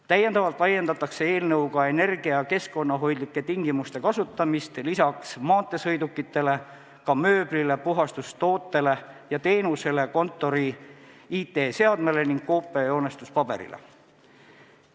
Lisaks laiendatakse eelnõuga võimalust kasutada energia- ja keskkonnahoidlikke tingimusi peale maanteesõidukite ka mööbli, puhastustoodete ja -teenuste, kontori IT-seadmete ning koopia- ja joonestuspaberi puhul.